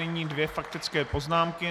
Nyní dvě faktické poznámky.